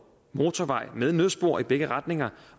motorvej med nødspor i begge retninger